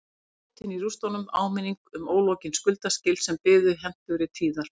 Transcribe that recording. Brotin í rústunum áminning um ólokin skuldaskil sem biðu hentugri tíðar